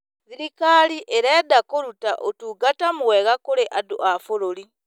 Thirikari ĩrenda kũruta ũtungata mwega kũrĩ andũ a bũrũri.